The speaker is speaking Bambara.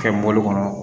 Kɛ mɔbili kɔnɔ